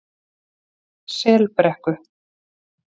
Selbrekku